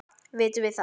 Vitum við það?